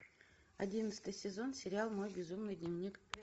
одиннадцатый сезон сериал мой безумный дневник